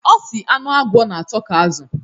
Ọ sị anụ agwọ n'atọ ka azụ